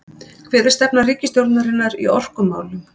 Hver er stefna ríkisstjórnarinnar í orkumálum